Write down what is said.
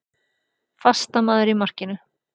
Fastamaður í markinu.